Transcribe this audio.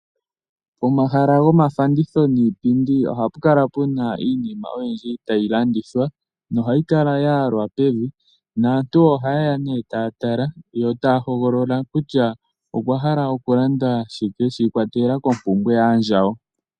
Omahala goofanditha dhiipinfi ohapu kala pu na iinima oyindji tayi landithwa nohayi kala ya yalwa pevi, naantu ohaye ya taa tala yo taya hogolola kutya okwa hala okulanda shike shiikwatelela koompumbwe dhaandjawo.